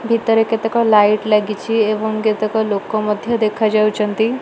ଭିତରେ କେତେକ ଲାଇଟ ଲାଗିଛି ଏବଂ କେତେକ ଲୋକ ମଧ୍ୟ ଦେଖା ଯାଉଛନ୍ତି।